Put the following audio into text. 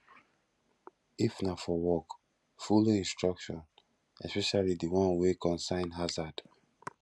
if na for work follow instruction especially di one wey concern harzard